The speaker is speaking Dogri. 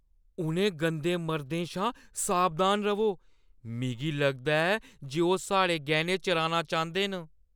उ'नें गंदे मर्दें शा सावधान र'वो। मिगी लगदा ऐ जे ओह् साढ़े गैह्‌ने चुराना चांह्‌दे न।